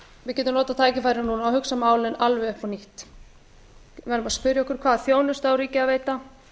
við getum notað tækifærið núna og hugsað málin alveg upp á nýtt við verðum bara að spyrja okkur hvaða þjónustu á ríkið að veita